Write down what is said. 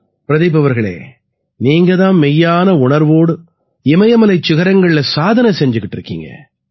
பிரதீப் அவர்களே நீங்க தான் மெய்யான உணர்வோட இமயமலைச் சிகரங்கள்ல சாதனை செய்திட்டு இருக்கீங்க